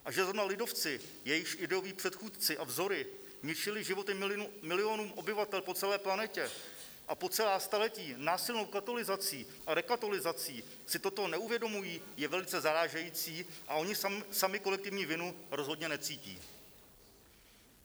A že zrovna lidovci, jejichž ideoví předchůdci a vzory ničili životy milionům obyvatel po celé planetě a po celá staletí násilnou katolizací a rekatolizací, si toto neuvědomují, je velice zarážející, a oni sami kolektivní vinu rozhodně necítí.